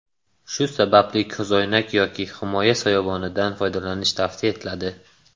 Shu sababli ko‘zoynak yoki himoya soyabonidan foydalanish tavsiya etiladi.